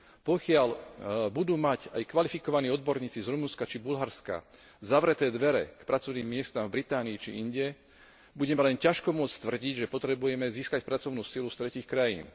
Pokiaľ budú mať aj kvalifikovaní odborníci z Rumunska či Bulharska zavreté dvere k pracovným miestam v Británii či inde, budeme len ťažko môcť tvrdiť, že potrebujeme získať pracovnú silu z tretích krajín.